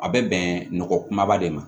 A bɛ bɛnɛ nɔgɔ kumaba de ma